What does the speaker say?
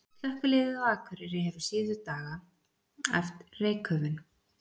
Slökkviliðið á Akureyri hefur síðustu daga æft reykköfun.